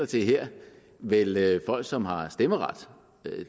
til her vel vel folk som har stemmeret